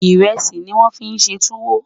írèsì ní wón fí ṣé túwò